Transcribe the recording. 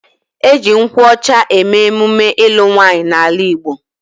E ji nkwu ocha eme emume ilu nwaanyi n'ala Igbo